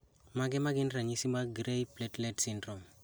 Mage magin ranyisi mag Gray platelet syndrome